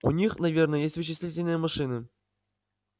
у них наверное есть вычислительные машины